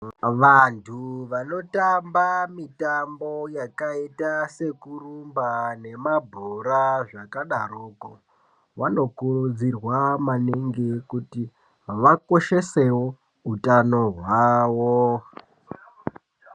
Vantu vanoramba mitambo yakaita sekurumba yemabhora zvakadaroko vanokurudzirwa maningi kuti vakoshese utano hwavo.